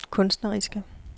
kunstneriske